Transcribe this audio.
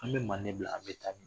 An bɛ manden bila an bɛ taa min